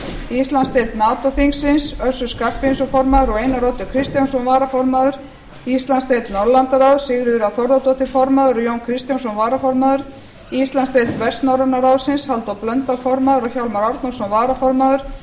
íslandsdeild nato þingsins össur skarphéðinsson formaður og einar oddur kristjánsson varaformaður íslandsdeild norðurlandaráðs sigríður anna þórðardóttir formaður og jón kristjánsson varaformaður íslandsdeild vestnorræna ráðsins halldór blöndal formaður og hjálmar árnason varaformaður